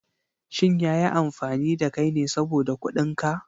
Shin ya yi amfani da kai ne saboda kuɗin ka?